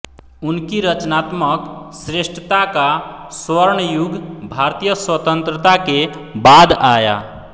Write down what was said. उनकी रचनात्मक श्रेष्ठता का स्वर्णयुग भारतीय स्वतंत्रता के बाद आया